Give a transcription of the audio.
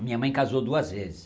A minha mãe casou duas vezes.